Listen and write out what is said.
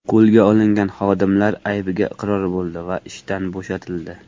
Qo‘lga olingan xodimlar aybiga iqror bo‘ldi va ishdan bo‘shatildi.